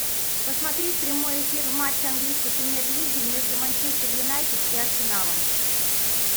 посмотреть прямой эфир матча английской премьер лиги между манчестер юнайтед и арсеналом